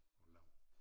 Og lav